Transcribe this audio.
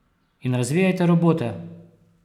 In razvijajte robote!